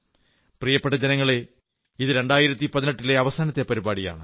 പ്രിയപ്പെട്ട ജനങ്ങളേ ഇത് 2018 ലെ അവസാനത്തെ പരിപാടിയാണ്